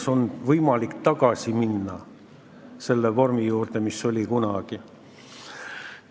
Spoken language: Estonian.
Ma ei tea, kas on võimalik minna tagasi selle vormi juurde, mis kunagi oli.